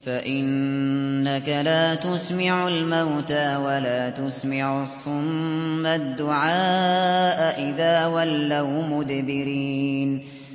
فَإِنَّكَ لَا تُسْمِعُ الْمَوْتَىٰ وَلَا تُسْمِعُ الصُّمَّ الدُّعَاءَ إِذَا وَلَّوْا مُدْبِرِينَ